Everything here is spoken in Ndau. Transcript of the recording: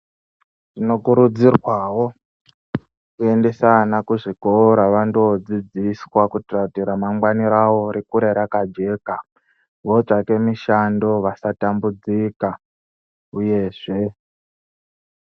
Tinokurudzirwawo kuendesa ana kuzvikora vandodzidziswa kuitira kuti ramangwani ravo rikure rakajeka votsvake mishando vasatambudzika uyezve